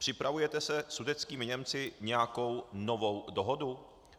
Připravujete se sudetskými Němci nějakou novou dohodu?